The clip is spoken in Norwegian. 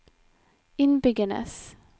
innbyggernes